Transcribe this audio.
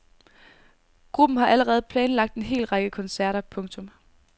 Gruppen har allerede planlagt en hel række koncerter. punktum